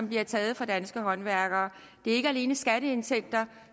bliver taget fra danske håndværkere det er ikke alene skatteindtægter